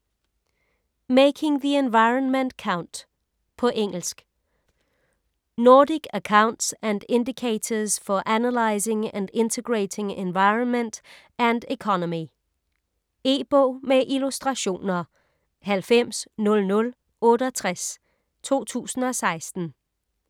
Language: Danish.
Making the environment count På engelsk. Nordic accounts and indicators for analysing and integrating environment and economy. E-bog med illustrationer 900068 2016.